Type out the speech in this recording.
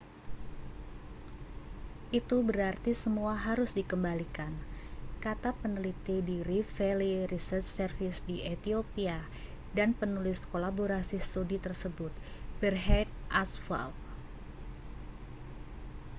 itu berarti semua harus dikembalikan kata peneliti di rift valley research service di ethiopia dan penulis kolaborasi studi tersebut berhane asfaw